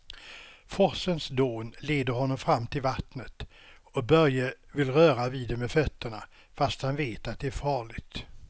Forsens dån leder honom fram till vattnet och Börje vill röra vid det med fötterna, fast han vet att det är farligt.